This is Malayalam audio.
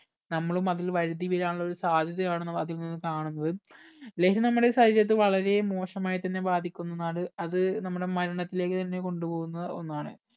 നമ്മളും അതിൽ വഴുതി വീഴാനുള്ള ഒരു സാധ്യത ആണ് അതിൽ നിന്നും കാണുന്നത് ലഹരി നമ്മുടെ ശരീരത്തിൽ വളരെ മോശമായി തന്നെ ബാധിക്കുന്നതാണ് അത് നമ്മുടെ മരണത്തിലേക്ക് തന്നെ കൊണ്ട് പോകുന്ന ഒന്നാണ്